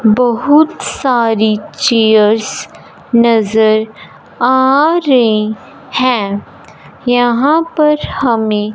बहुत सारी चेयर्स नजर आ रही हैं यहां पर हमें--